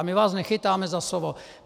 A my vás nechytáme za slovo.